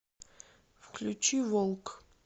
включи волк